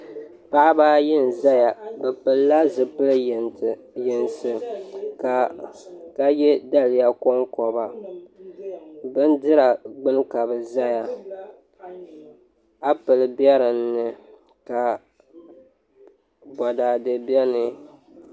Paɣaba ayi n ʒɛya bi pilila zipili yinsi ka yɛ daliya konkoba bindira gbuni ka bi ʒɛya appli bɛ dinni ka boraadɛ biɛni